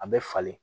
A bɛ falen